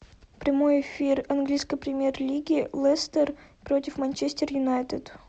прямой эфир английской премьер лиги лестер против манчестер юнайтед